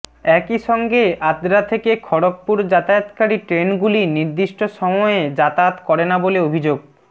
একই সঙ্গে আদ্রা থেকে খড়গপুর যাতায়াতকারী ট্রেনগুলি নির্দিষ্ট সময়ে যাতায়াত করে না বলে অভিযোগ